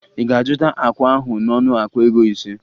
Ị ga-azụta akwa ahụ n'ọnụ akpa ego ise?